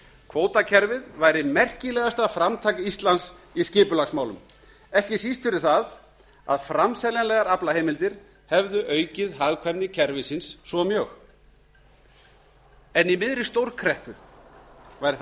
kvótakerfið væri merkilegasta framtak íslands í skipulagsmálum ekki síst fyrir það að framseljanlegar aflaheimildir hefðu aukið hagkvæmni kerfisins svo mjög en í miðri stórkreppu væri það